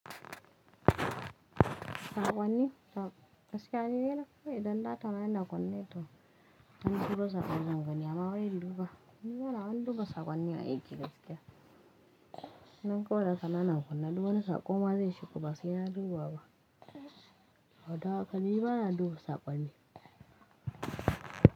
Saƙwanni, gaskiya ni nidai ko idan datana yana kunne to in an turo saƙo zanga ni amma wai ii duba. Ni bana wani duba saƙwanni a aiki gaskiya. Nan kawai data na na kunne duk wani saƙo ma zai shigo ba sai na duba ba wa don haka ni bana duba sakwanni.